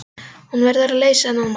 Hún verður að leysa þennan mann.